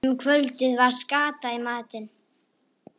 Um kvöldið var skata í matinn.